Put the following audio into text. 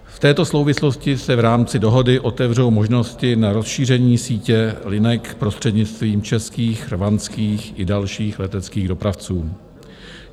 V této souvislosti se v rámci dohody otevřou možnosti na rozšíření sítě linek prostřednictvím českých, rwandských i dalších leteckých dopravců.